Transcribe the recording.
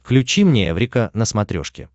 включи мне эврика на смотрешке